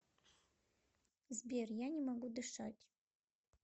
сбер я не могу дышать